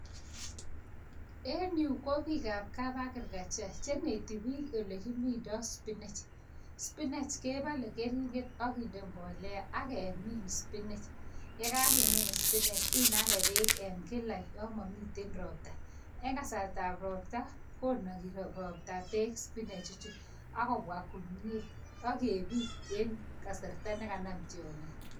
En yu ko biik ap kapagriculture cheneti biik olekimindoi Spinach. Spinach kebale keringet akinde mbolea akemin spinach, yekakemin spinach inage peek kila ya mamite ropta. eng' kasarta ap ropta konagi ropta peek spinach ichu akobwa komyie akebit en kasarta nekanam tiong'ik